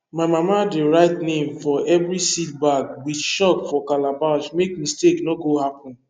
my mama dey write name for every seed bag with chalk for calabash make mistake no go happen